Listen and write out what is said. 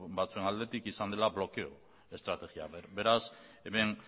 batzuen aldetik izan dela blokeo estrategia beraz hemen